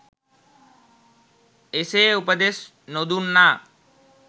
එසේ උපදෙස් නොදුන්නා